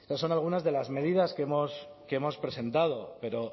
estas son algunas de las medidas que hemos que hemos presentado pero